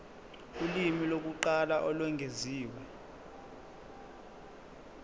ulimi lokuqala olwengeziwe